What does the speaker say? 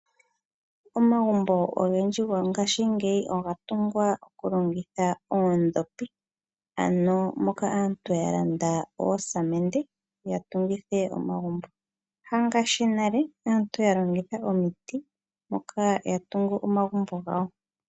Omagumbo ogendji gongaashingeyi oga tungwa okulongitha oondhopi, ano moka aantu yalanda oosamende yatungithe omagumbo, hangaashi nale aantu yalongitha omiti moka yatungu omagumbo gawo.